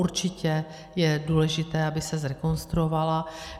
Určitě je důležité, aby se zrekonstruovala.